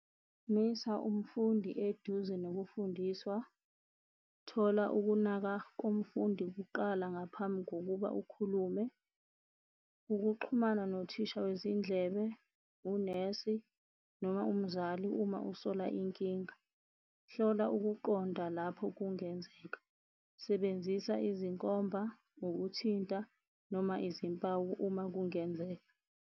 Misa umfundi eduze nokufundiswa, thola ukunaka kumfundi kuqala ngaphambi kokuba ukhulume. Ukuxhumana nothisha wezindlebe unesi noma umzali uma usola inkinga. Hlola ukuqonda lapho kungenzeka. Sebenzisa izinkomba, ukuthinta noma izimpawu uma kungenzeka.